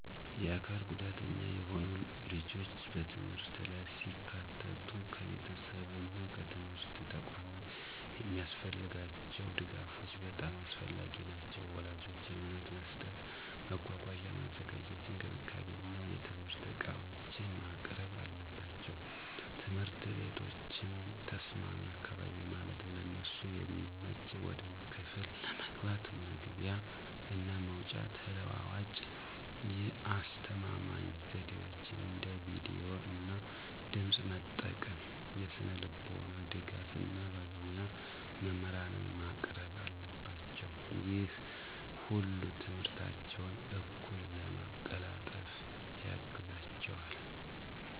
የአካል ጉዳተኛ የሆኑ ልጆች በትምህርት ላይ ሲካተቱ ከቤተሰብ እና ከትምህርት ተቋማት የሚያስፈልጋቸው ድጋፎች በጣም አስፈላጊ ናቸው። ወላጆች እምነት መስጠት፣ መጓጓዣ ማዘጋጀት፣ እንክብካቤ እና የትምህርት ዕቃዎችን ማቅረብ አለባቸው። ትምህርት ቤቶችም ተስማሚ አካባቢ ማለትም ለእነሱ የሚመች ወደ ክፍል ለመግባት መግቢያ እና መውጫ፣ ተለዋዋጭ የአስተማማኝ ዘዴዎች አንደ ቪዲዮ እና ድምጽ መጠቀም፣ የስነልቦና ድጋፍ እና ባለሞያ መምህራንን ማቅረብ አለባቸው። ይህ ሁሉ ትምህርታቸውን እኩል ለማቀላጠፍ ያግዛቸዋል።